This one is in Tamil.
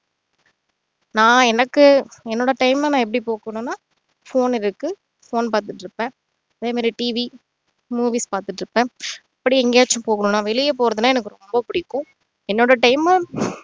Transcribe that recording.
நான் எனக்கு என்னோட time அ நான் எப்படி போக்கணும்னா phone இருக்கு phone பாத்துட்டு இருப்பன் அதே மாதிரி TV movies பாத்துட்டு இருப்பன் அப்படி எங்கேயாச்சும் போகணும்னா வெளிய போறதுன்னா எனக்கு ரொம்ப புடிக்கும் என்னோட time உம்